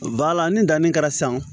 Bala ni danni kɛra san